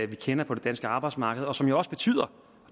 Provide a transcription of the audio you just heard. vi kender på det danske arbejdsmarked og som jo også betyder